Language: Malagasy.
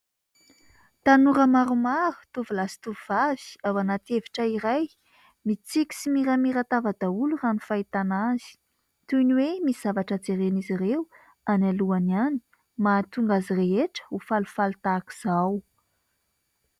Tanora maromaro tovolahy sy tovovavy ao anaty efitra iray. Mitsiky sy miramiran-tava daholo raha ny fahitana azy. Toy ny hoe misy zavatra jeren'izy ireo any alohany any mahatonga azy rehetra ho falifaly tahakizao